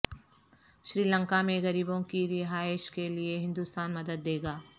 سری لنکا میں غریبوں کی رہائش کے لیے ہندوستان مدد دے گا